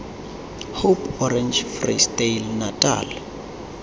hope orange free state natal